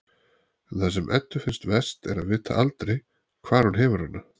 En það sem Eddu finnst verst er að vita aldrei hvar hún hefur hana.